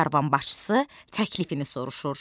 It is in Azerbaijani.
Karvan başçısı təklifini soruşur.